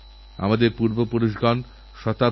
রাখীবন্ধন আমাদের এক গুরুত্বপূর্ণ উৎসব